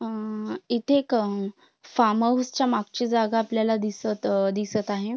अ इथे एक farm house च्या मागची जागा आपल्याला दिसत दिसत आहे.